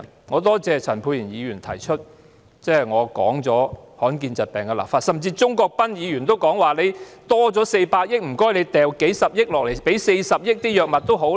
我感謝陳沛然議員提到，我建議就保障罕見疾病的病人權益立法；鍾國斌議員也提議，在400億元盈餘中撥出40億元購買藥物。